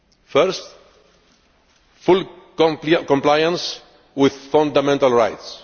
Firstly, full compliance with fundamental rights.